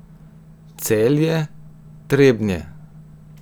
Celje, Trebnje.